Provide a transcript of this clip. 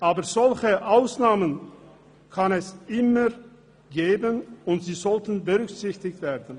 Aber solche Ausnahmen kann es immer geben, und sie sollten berücksichtigt werden.